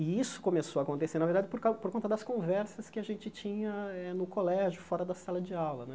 E isso começou a acontecer, na verdade, por cau por conta das conversas que a gente tinha eh no colégio, fora da sala de aula né.